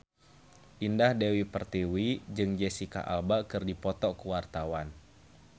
Indah Dewi Pertiwi jeung Jesicca Alba keur dipoto ku wartawan